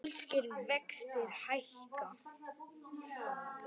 Pólskir vextir hækka